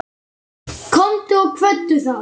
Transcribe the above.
Komdu og kveddu þá.